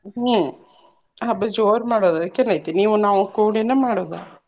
ಹ್ಮ್ ಹಬ್ಬ ಜೋರ್ ಮಾಡೋದ್ ಅದ್ಕೆನ ಐತಿ ನೀವು ನಾವು ಕೂಡಿನೆ ಮಾಡೋದ.